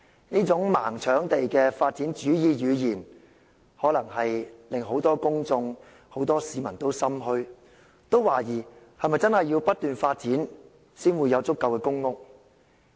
這種"盲搶地"的發展主義語言，可能令很多公眾、很多市民也心怯，懷疑是否真的要不斷發展，才能興建足夠公屋？